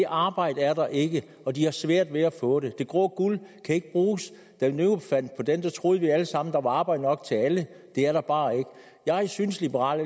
arbejde er der ikke og de har svært ved at få det det grå guld kan ikke bruges da nogen fandt på den troede vi alle sammen der var arbejde nok til alle det er der bare ikke jeg synes liberal